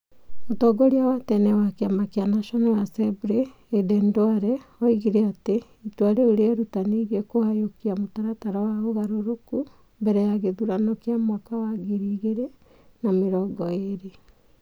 Mũtongoria wa tene wa kĩama kĩa National Assembly Aden Duale. Oigire atĩ itua rĩu rĩerutanĩirie kũhanyũkia mũtaratara wa ũgarũrũku .Mbere ya gĩthurano kĩa mwaka wa 2022.